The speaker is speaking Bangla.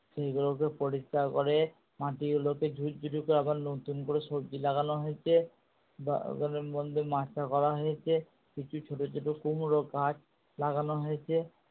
সেই গুলোকে পরিষ্কার করে মাটি গুলোকে আবার নতুন করে সবজি লাগানো হয়েছে। বাগানের মধ্যে মাচা করা হয়েছে কিছু ছোটো ছোটো কুমড়োগাছ লাগানো হয়েছে।